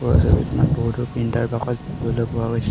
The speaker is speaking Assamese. ওপৰৰ ছবিখনত বহুতো প্ৰিণ্টাৰ বাকচ দেখিবলৈ পোৱা গৈছ--